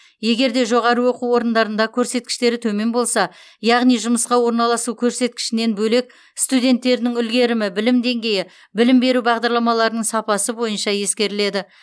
егер де жоғарғы оқу орындарында көрсеткіштері төмен болса яғни жұмысқа орналасу көрсеткішінен бөлек студенттердің үлгерімі білім деңгейі білім беру бағдарламаларының сапасы бойынша ескеріледі